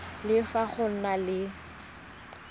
le fa go na le